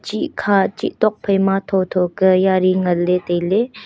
chih kha chih tok phai ma tho tho ke yari ngan ley tai ley.